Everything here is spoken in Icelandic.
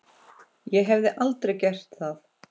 Ég hef aldrei gert það.